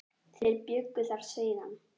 Þeir bjuggu þar síðan.